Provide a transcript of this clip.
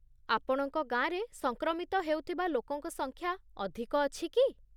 ଆପଣଙ୍କ ଗାଁରେ ସଂକ୍ରମିତ ହେଉଥିବା ଲୋକଙ୍କ ସଂଖ୍ୟା ଅଧିକ ଅଛି କି?